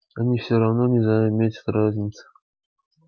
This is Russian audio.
они все равно не заметят разницы